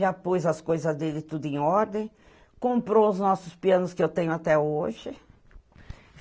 Já pôs as coisas dele tudo em ordem, comprou os nossos pianos que eu tenho até hoje.